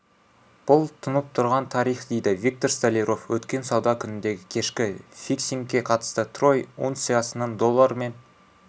бұл тұнып тұрған тарих дейді виктор столяров өткен сауда күніндегі кешкі фиксингке қатысты трой унциясының доллармен